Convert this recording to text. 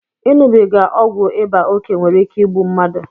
Iṅụbiga ọgwụ ịba oke nwere ike igbu mmadụ